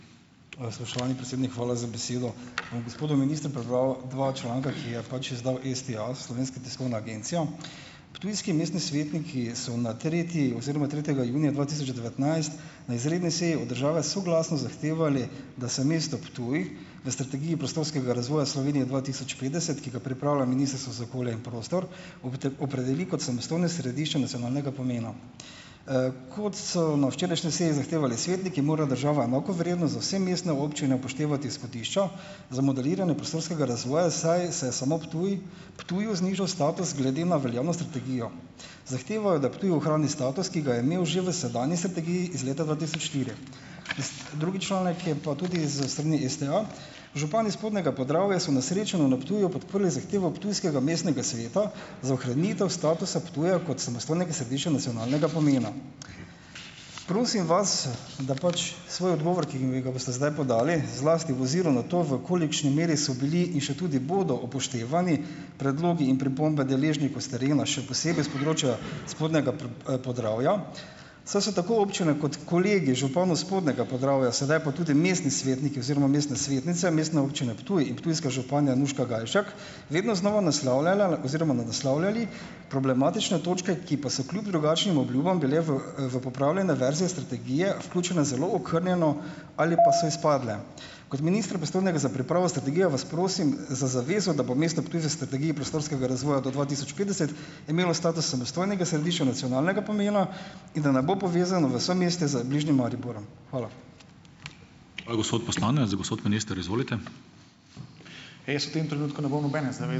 Spoštovani predsednik, hvala za besedo. Bom gospodu ministru prebral dva članka, ki ju je pač izdal STA, Slovenska tiskovna agencija: Ptujski mestni svetniki so na tretji oziroma tretjega junija dva tisoč devetnajst na izredni seji od države soglasno zahtevali, da se mesto Ptuj na strategiji prostorskega razvoja Slovenije dva tisoč petdeset, ki ga pripravlja Ministrstvo za okolje in prostor, opredeli kot samostojno središče nacionalnega pomena. Kot so na včerajšnji seji zahtevali svetniki, mora država enakovredno za vse mestne občine upoštevati smetišča za modeliranje prostorskega razvoja, saj se samo Ptuj Ptuju znižal status glede na veljavno strategijo. Zahtevajo, da Ptuj ohrani status, ki ga je imel že v sedanji strategiji iz leta dva tisoč štiri. Drugi članek je pa tudi s strani STA. Župan iz spodnjega Podravja so na srečanju na Ptuju podprli zahtevo ptujskega mestnega sveta za ohranitev statusa Ptuja kot samostojnega središča nacionalnega pomena. Prosim vas, da pač svoj odgovor, ki mi ga boste zdaj podali, zlasti v oziru na to, v kolikšni meri so bili in še tudi bodo upoštevani predlogi in pripombe deležnikov s terena, še posebej s področja spodnjega Podravja, so se tako občine kot kolegi županov spodnjega Podravja, sedaj pa tudi mestni svetniki oziroma mestne svetnice Mestne občine Ptuj in ptujska županja Nuška Gajšek, vedno znova naslavljala oziroma naslavljali problematične točke, ki pa se kljub drugačnim obljubam bile v, v popravljene verzije strategije vključene zelo okrnjeno ali pa so izpadle. Kot minister pristojnega za pripravo strategije vas prosim za zavezo, da bo mesto Ptuj v strategiji prostorskega razvoja do dva tisoč petdeset imelo status samostojnega središča nacionalnega pomena, in da ne bo povezano v somestje z bližnjim Mariborom. Hvala.